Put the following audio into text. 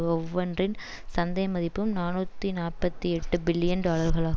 ஒவ்வொன்றின் சந்தை மதிப்பும் நாநூத்தி நாப்பத்தி எட்டு பில்லியன் டாலர்களாகு